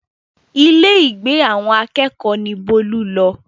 Ilé ìgbé àwọn akẹ́kọ̀ọ́ ni Bólú lọ